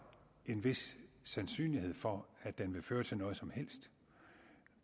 er en vis sandsynlighed for at den vil føre til noget som helst